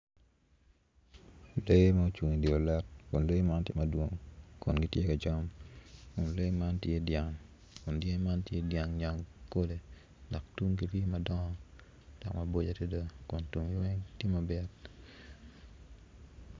Lee ma ocung idye olet kun lee man tye madwong kun gitye ka cam kun lee man tye dyang nyankole dok tunggi tye madongo maboco adada kun tunggi weng tye mabit.